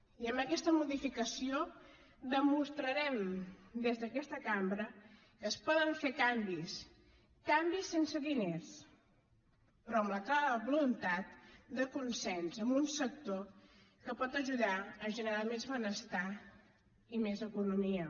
i amb aquesta modificació demostrarem des d’aquesta cambra que es poden fer canvis canvis sense diners però amb la clara voluntat de consens en un sector que pot ajudar a generar més benestar i més economia